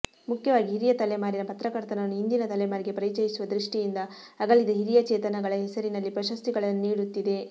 ಮುಖ್ಯವಾಗಿ ಹಿರಿಯ ತಲೆಮಾರಿನ ಪತ್ರಕರ್ತರನ್ನು ಇಂದಿನ ತಲೆಮಾರಿಗೆ ಪರಿಚಯಿಸುವ ದೃಷ್ಟಿಯಿಂದ ಅಗಲಿದ ಹಿರಿಯ ಚೇತನಗಳ ಹೆಸರಿನಲ್ಲಿ ಪ್ರಶಸ್ತಿಗಳನ್ನು ನೀಡುತ್ತಿದೆ